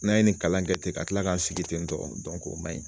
N'an ye ni kalankɛ ten ka kila ka sigi ten tɔn o man ɲi.